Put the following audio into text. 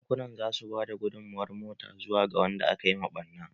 Bankunan za su ba da gudunmawar mota. zuwa ga wanda aka yi wa ɓarna.